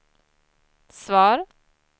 svar